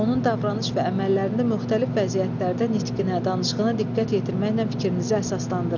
Onun davranış və əməllərində müxtəlif vəziyyətlərdə nitqinə, danışığına diqqət yetirməklə fikrinizi əsaslandırın.